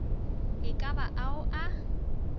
e ka ba ao a